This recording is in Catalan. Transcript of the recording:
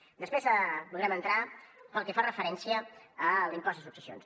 després podrem entrar en el que fa referència a l’impost de successions